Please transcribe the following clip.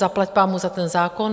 Zaplať pánbůh za ten zákon.